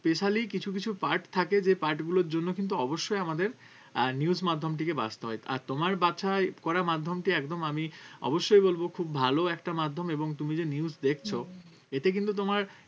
specially কিছু কিছু part থাকে যে part গুলোর জন্য কিন্তু অবশ্যই আমাদের আহ news মাধ্যমটিকে বাছতে হয় আর তোমার বাছায় করা মাধ্যমটি একদম আমি অবশ্যই বলবো খুব ভালো একটা মাধ্যম এবং তুমি যে news দেখছো এতে কিন্তু তোমার